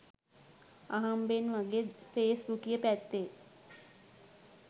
අහම්බෙන් වගේ ෆේස් බුකිය පැත්තෙ